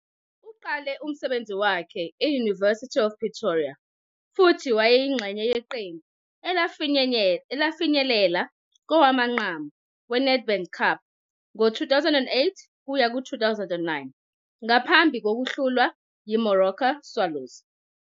Uqale umsebenzi wakhe e- University of Pretoria, futhi wayeyingxenye yeqembu elafinyelela kowamanqamu weNedbank Cup ngo-2008-09, ngaphambi kokuhlulwa yiMoroka Swallows.